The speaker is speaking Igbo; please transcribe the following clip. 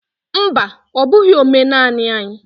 Mba! Ọ bụghị omenanị anyị.